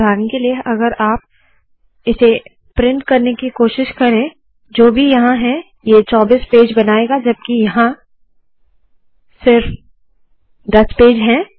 उदाहरण के लिए अगर आप इसे प्रिंट करने की कोशिश करे जो भी यहाँ है ये 24 पेज बनाएगा जबकि यहाँ सिर्फ दस पेज है